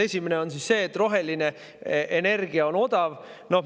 Esimene on see, et roheline energia on odav.